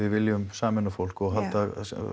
viljum sameina fólk og halda